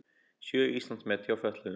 Sjö Íslandsmet hjá fötluðum